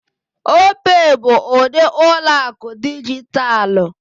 Opay bụ ụdị ụlọ akụ dijitalụ.